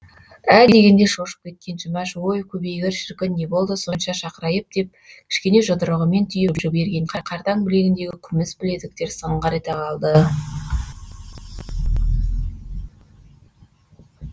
ә дегенде шошып кеткен жұмаш өй көбейгір шіркін не болды сонша шақырайып деп кішкене жұдырығымен түйіп жібергенде қартаң білегіндегі күміс білезіктер сыңғыр ете қалды